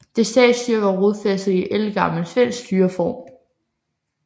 Det statsstyre var rodfæstet i ældgammel svensk styreform